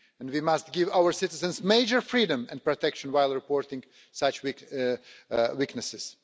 We must give our citizens major freedom and protection while reporting such weaknesses.